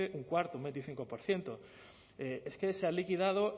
un cuarto un veinticinco por ciento es que se han liquidado